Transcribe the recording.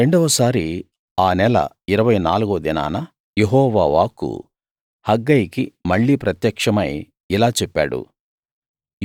రెండవ సారి ఆ నెల ఇరవై నాలుగవ దినాన యెహోవా వాక్కు హగ్గయికి మళ్ళీ ప్రత్యక్షమై ఇలా చెప్పాడు